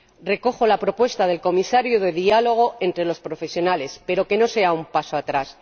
Recojo la propuesta del Comisario de diálogo entre los profesionales, pero que no sea un paso atrás.